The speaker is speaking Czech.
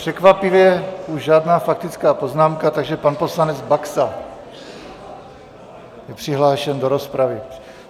Překvapivě už žádná faktická poznámka, takže pan poslanec Baxa je přihlášen do rozpravy.